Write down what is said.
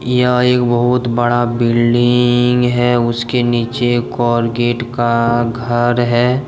यह एक बहोत बड़ा बिल्डिंग है उसके नीचे कोर्गेट का घर है।